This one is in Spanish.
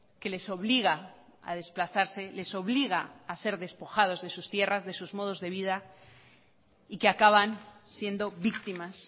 que les obliga a desplazarse les obliga a ser despojados de sus tierras de sus modos de vida y que acaban siendo víctimas